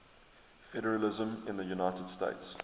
federalism in the united states